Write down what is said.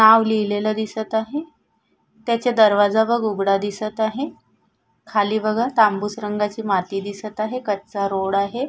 नाव लिहलेले दिसत आहे त्याचे दरवाजा बघ उघडा दिसत आहे खाली बघा तांबूस रंगाची माती दिसत आहे कच्चा रोड आहे.